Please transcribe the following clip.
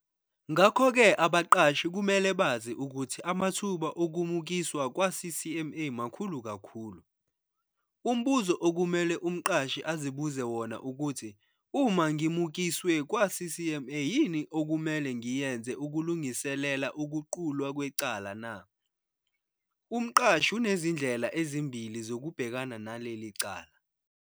Ngakho-ke abaqashi kumele bazi ukuthi amathuba okumukiswa kwa-CCMA makhulu kakhulu. Umbuzo okumele umqashi azibuze wona ukuthi "uma ngimukiswe kwa-CCMA yini okumele ngiyenze ukulungiselela ukuqulwa kwecala na?". Umqashi unezindlela ezimbili zokubhekana naleli cala.